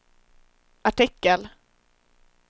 artikel